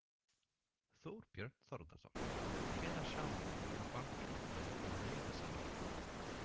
Þorbjörn Þórðarson: Hvenær sjáum við að bankinn fari í nauðasamninga?